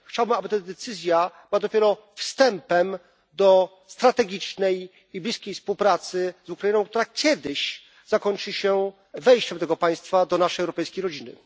Chciałbym, aby ta decyzja była dopiero wstępem do strategicznej i bliskiej współpracy z Ukrainą, która kiedyś zakończy się wejściem tego państwa do naszej europejskiej rodziny.